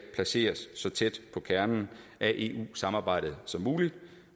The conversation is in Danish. placeres så tæt på kernen af eu samarbejdet som muligt